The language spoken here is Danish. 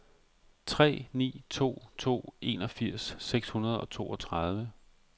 tre ni to to enogfirs seks hundrede og toogtredive